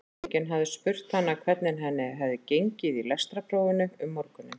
Enginn hafði spurt hana hvernig henni hefði gengið í lestrarprófinu um morguninn.